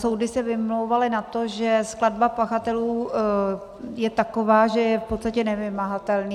Soudy se vymlouvaly na to, že skladba pachatelů je taková, že je v podstatě nevymahatelný.